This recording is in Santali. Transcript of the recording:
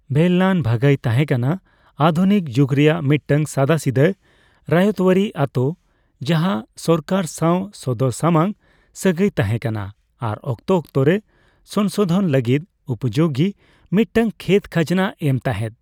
ᱵᱷᱮᱞᱞᱟᱱ ᱵᱷᱟᱜᱟᱭ ᱛᱟᱦᱮᱸ ᱠᱟᱱᱟ ᱟᱫᱷᱩᱱᱤᱠ ᱡᱩᱠ ᱨᱮᱭᱟᱜ ᱢᱤᱫᱴᱟᱝ ᱥᱟᱫᱟᱥᱤᱫᱟᱹ ᱨᱟᱭᱛᱚᱣᱟᱨᱤ ᱟᱛᱳ, ᱡᱟᱦᱟ ᱥᱚᱨᱠᱟᱨ ᱥᱟᱣ ᱥᱚᱫᱚᱨᱥᱟᱢᱟᱝ ᱥᱟᱹᱜᱟᱹᱭ ᱛᱟᱦᱮᱜ ᱠᱟᱱᱟ ᱟᱨ ᱚᱠᱛᱚ ᱚᱠᱛᱚ ᱨᱮ ᱥᱳᱝᱥᱳᱫᱷᱚᱱ ᱞᱟᱹᱜᱤᱫ ᱩᱯᱡᱳᱜᱤ ᱢᱤᱫᱴᱟᱝ ᱠᱷᱮᱛ ᱠᱷᱟᱡᱽᱱᱟ ᱮᱢ ᱛᱟᱦᱮᱜ ᱾